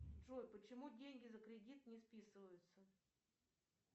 джой почему деньги за кредит не списываются